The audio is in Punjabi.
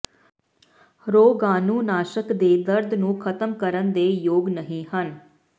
ਰੋਗਾਣੂਨਾਸ਼ਕ ਦੇ ਦਰਦ ਨੂੰ ਖਤਮ ਕਰਨ ਦੇ ਯੋਗ ਨਹੀ ਹਨ